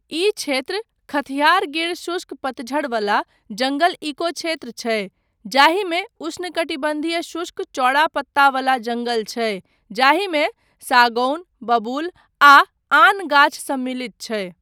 ई क्षेत्र खथियार गिर शुष्क पतझड़ वाला जङ्गल इकोक्षेत्र छै, जाहिमे उष्णकटिबन्धीय शुष्क चौड़ा पत्ता वला जङ्गल छै जाहिमे सागौन, बबूल, आ आन गाछ सम्मिलित छै।